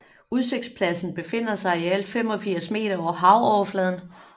Udsigtspladsen befinder sig i alt 85 meter over havoverfladen